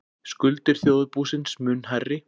Skuldir þjóðarbúsins mun hærri